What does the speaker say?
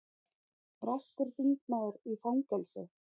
Breskur þingmaður í fangelsi